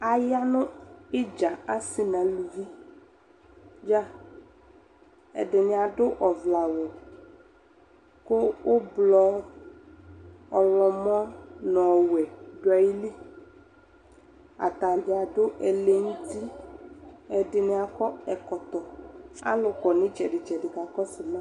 Aya nʋ ɩdza asɩ nʋ aluvi dza Ɛdɩnɩ adʋ ɔvlɛawʋ kʋ ʋblɔ, ɔɣlɔmɔ nʋ ɔwɛ dʋ ayili Ata dza adʋ ɛlɛnʋti Ɛdɩnɩ akɔ ɛkɔtɔ Alʋ kɔ nʋ ɩtsɛdɩ-tsɛdɩ kakɔsʋ ma